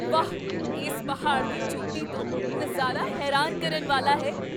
ਵਾਹ! ਇਸ ਪਹਾੜ ਦੀ ਚੋਟੀ ਤੋਂ ਨਜ਼ਾਰਾ ਹੈਰਾਨ ਕਰਨ ਵਾਲਾ ਹੈ!